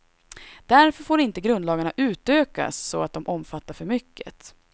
Därför får inte grundlagarna utökas så att de omfattar för mycket.